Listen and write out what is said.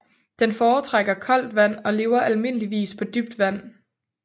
Den foretrækker koldt vand og lever almindeligvis på dybt vand